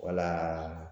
Wala